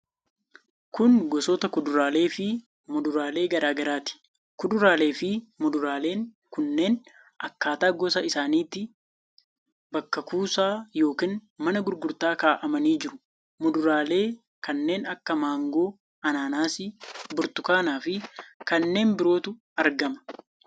Kun gosoota kuduraalee fi muduraalee gara garaati. Kuduraalee fi muduraaleen kunneen akkaataa gosa isaaniitti bakka kuusaa yookiin mana gurgurtaa kaa'amanii jiru. Muduraalee kanneen akka mangoo, anaanaasii, burtukaanaa fi kanneen birootu argama.